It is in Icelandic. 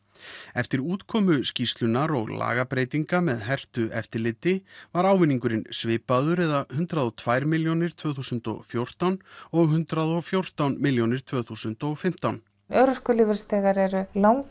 eftir útkomu skýrslu og lagabreytingar með hertu eftirliti var ávinningurinn svipaður eða hundrað og tvær milljónir tvö þúsund og fjórtán og hundrað og fjórtán milljónir tvö þúsund og fimmtán örorkulífeyrisþegar eru lang